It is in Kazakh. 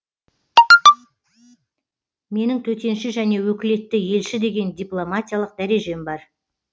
менің төтенше және өкілетті елші деген дипломатиялық дәрежем бар